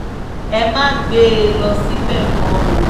ẹ má gbé e lọ síbẹ̀ mọ́ o